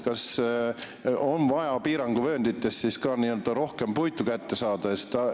Kas on vaja siis ka piiranguvöönditest rohkem puitu kätte saada?